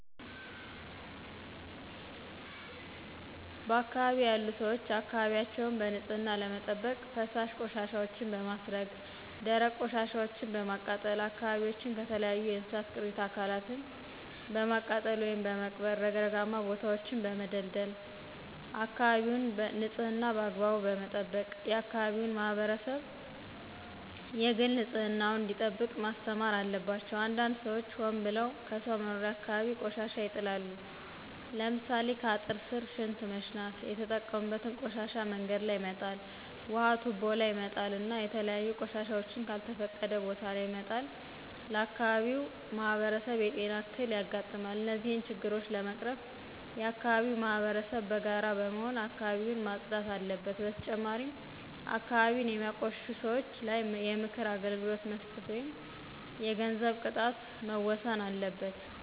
በአካባቢው ያሉ ሰዎች አካባቢያቸውን በንፅህና ለመጠበቅ ፈሳሽ ቆሻሻወችን በማስረገ ደረቅ ቆሻሻወችን በማቃጠል አካባቢዎችን ከተለያዩ የእንስሳት ቅሬተ አካላትን በማቃጠል ወይም በመቅበር ረግረጋማ ቦታወችን በመደልደል አካበቢወችን ንፅህና በአግባቡ የአከባቢው ማህበረሰብ የግል ንፅህና ዉን መጠበቅ አለበት። አንዳንድ ሰዎች ሆን ብለው ከሰው መኖሪያ አካባቢ ቆሻሻ ይጥላሉ። ለምሳሌ ከአጥር ስር ሽንት መሽናት የተጠቀሙበትን ቆሻሻ መንገድ ላይ መጣል ውሀ ቱቦ ላይ መጣል እና የተለያዩ ቆሻሻወችን ከልተፈቀደ ቦታ ለይ መጣል ለአካባቢው ማህበረሰብ የጤና እክል ያጋጥማል። እነዚህን ችግሮች ለመቀረፍ የአከባቢው ማህበረሰብ በጋራ በመሆን አካባቢውን ማፅዳት አለበት። በተጨማሪም አካባቢን የሚያቆሽሹ ሰወች ላይ የምክር አገልግሎት መስጠት ወይም የገንዘብ ቅጣት መወሰን አለበት።